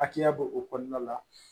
Hakɛya b'o kɔnɔna la